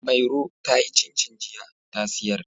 Mairo ta yi cincin jiya ta siyar.